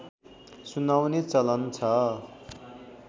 सुनाउने चलन छ